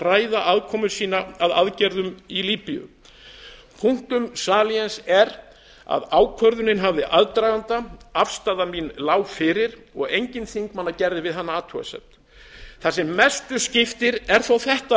ræða aðkomu sína að aðgerðum í líbíu punctum saliens er að ákvörðunin hafði aðdraganda afstaða mín lá fyrir og enginn þingmanna gerði við hana athugasemd það sem mestu skiptir er þó